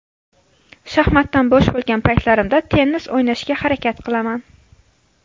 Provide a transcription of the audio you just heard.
Shaxmatdan bo‘sh bo‘lgan paytlarimda tennis o‘ynashga harakat qilaman.